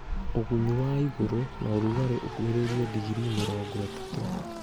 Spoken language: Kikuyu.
ũgunyu wa igũrũ na ũrugarĩ ũkuhĩrĩirie ndigiri mĩrongo ĩtatũ